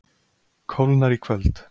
Kólnar í kvöld